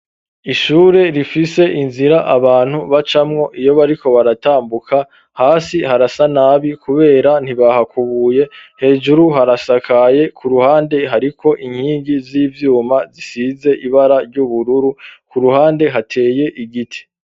Ishure rifise inzira abantu bacamwo iyo bariko baratambuka hasi harasa nabi kubera ntibahakubuye hejuru harasakaye ku ruhande hariko inkingi z'ivyuma zisize ibara ry'ubururu ku ruhande hateye igiti.